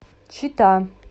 чита